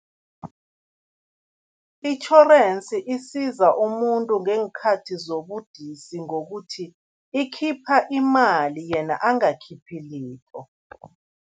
Itjhorensi isiza umuntu ngeenkhathi zobudisi ngokuthi ikhipha imali, yena angakhiphi litho.